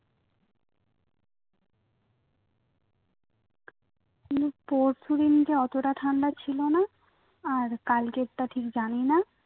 কিন্তু পরশুদিন কে অতটা ঠান্ডা ছিলোনা আর কালকের টা ঠিক জানিনা